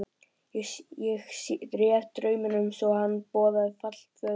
Ég réð drauminn svo að hann boðaði fall föður þíns.